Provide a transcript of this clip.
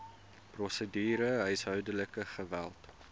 prosedure huishoudelike geweld